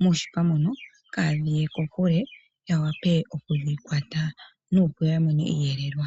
muushipa mono kaadhi ye kokule ya wape okudhi kwata ya mone iiyelelwa.